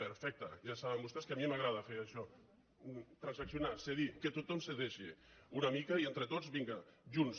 perfecte ja saben vos·tès que a mi m’agrada fer això transaccionar cedir que tothom cedeixi una mica i entre tots vinga junts